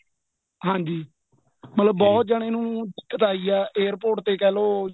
ਹਾਂਜੀ ਮਤਲਬ ਬਹੁਤ ਜਣੇ ਨੂੰ ਦਿੱਕਤ ਆਈ ਹੈ airport ਤੇ ਕਹਿਲੋ